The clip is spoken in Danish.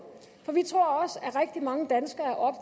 at rigtig mange danskere